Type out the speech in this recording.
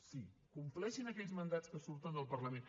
sí compleixin aquells mandats que surten del parlament